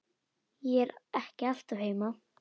Ég er ekki alltaf heima.